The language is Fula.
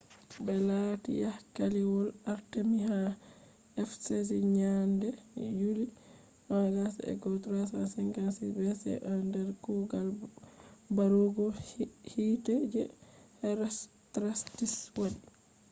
be laalati haykaliwol artemis ha ephesus nyande yuli 21 356 bce nder kuugal barugo hiite je herostratus wadi